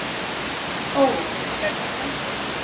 Óla, hvernig kemst ég þangað?